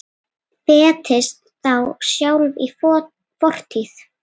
Festist þá sjálf í fortíð.